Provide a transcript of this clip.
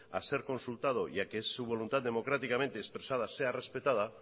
a ser consultado y a que su voluntad democráticamente expresada sea respetada